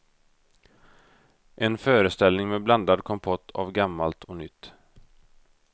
En föreställning med blandad kompott av gammalt och nytt.